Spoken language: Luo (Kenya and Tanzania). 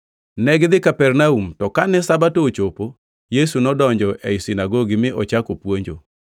Negidhi Kapernaum, to kane Sabato ochopo, Yesu nodonjo e sinagogi mi ochako puonjo.